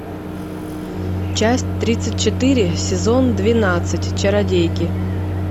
часть тридцать четыре сезон двенадцать чародейки